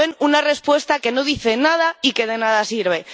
Como ven, una respuesta que no dice nada y que de nada sirve.